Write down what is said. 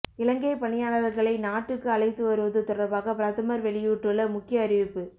இலங்கை பணியாளர்களை நாட்டுக்கு அழைத்து வருவது தொடர்பாக பிரதமர் வெளியிட்டுள்ள முக்கிய அறிவிப்பு